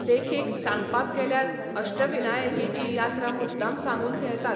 देखीक सांगपाक गेल्यार अष्टविनायकेची यात्रा मुद्दाम सांगून घेतात.